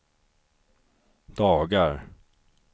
dagar